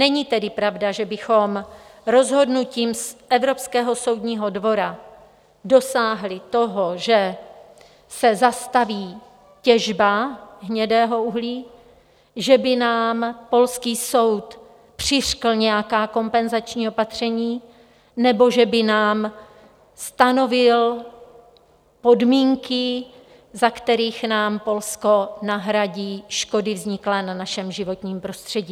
Není tedy pravda, že bychom rozhodnutím Evropského soudního dvora dosáhli toho, že se zastaví těžba hnědého uhlí, že by nám polský soud přiřkl nějaká kompenzační opatření nebo že by nám stanovil podmínky, za kterých nám Polsko nahradí škody vzniklé na našem životním prostředí.